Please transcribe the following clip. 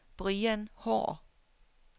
Brian Haahr